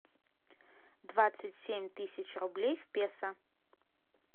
двадцать семь тысяч рублей в песо